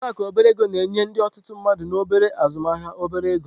Ụlọ akụ obere ego na-enye ndị otutu mmadu na obere azụmaahịa obere ego.